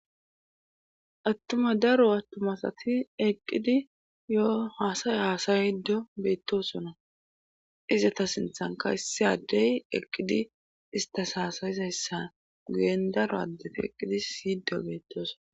attuma daro attumasati eqqidi yo haasaya haasaydo beettosona izata sinthanka issaddey eqqidi istas haasayizayssan guyen daro addefi eqqidi siyido beettosona